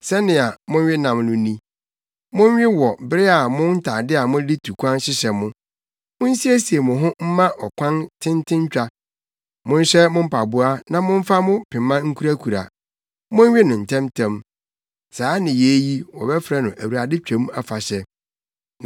Sɛnea monwe nam no ni: monwe wɔ bere a mo ntade a mode tu kwan hyehyɛ mo. Munsiesie mo ho mma ɔkwan tententwa. Monhyɛ mo mpaboa na momfa mo pema nkurakura. Monwe no ntɛmntɛm. Saa nneyɛe yi, wɔbɛfrɛ no Awurade Twam Afahyɛ.